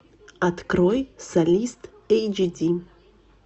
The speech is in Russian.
открой солист эйч ди